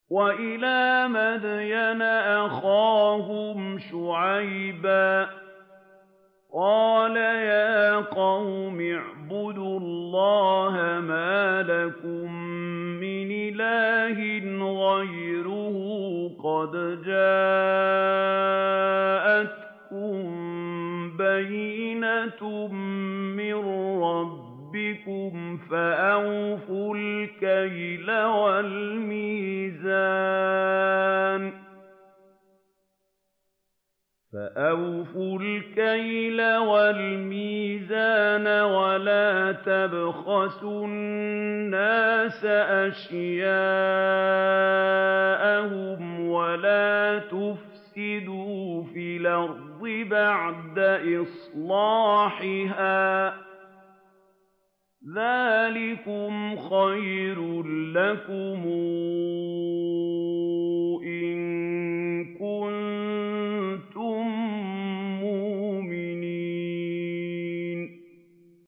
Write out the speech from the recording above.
وَإِلَىٰ مَدْيَنَ أَخَاهُمْ شُعَيْبًا ۗ قَالَ يَا قَوْمِ اعْبُدُوا اللَّهَ مَا لَكُم مِّنْ إِلَٰهٍ غَيْرُهُ ۖ قَدْ جَاءَتْكُم بَيِّنَةٌ مِّن رَّبِّكُمْ ۖ فَأَوْفُوا الْكَيْلَ وَالْمِيزَانَ وَلَا تَبْخَسُوا النَّاسَ أَشْيَاءَهُمْ وَلَا تُفْسِدُوا فِي الْأَرْضِ بَعْدَ إِصْلَاحِهَا ۚ ذَٰلِكُمْ خَيْرٌ لَّكُمْ إِن كُنتُم مُّؤْمِنِينَ